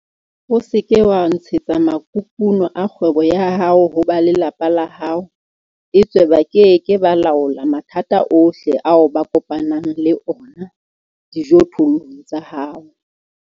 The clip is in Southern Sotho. O se ke wa ntshetsa makukuno a kgwebo ya hao ho ba lelapa la hao, etswe ba ke ke ba laola mathata ohle ao ba kopanang le ona dijothollong tsa hao.